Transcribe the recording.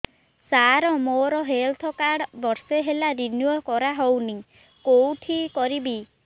ସାର ମୋର health card ବର୍ଷେ ହେଲା ରିନିଓ କରା ହଉନି କଉଠି କରିବି